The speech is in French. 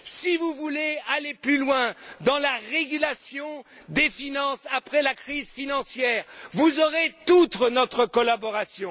Si vous voulez aller plus loin dans la régulation des finances après la crise financière, vous aurez toute notre collaboration.